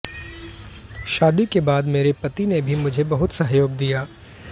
शादी के बाद मेरे पति ने भी मुझे बहुत सहयोग दिया